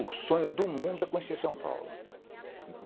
O sonho do mundo é conhecer São Paulo.